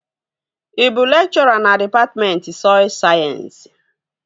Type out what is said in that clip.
Ị bụ lekchọra na dịpatmentị sọy sayensị?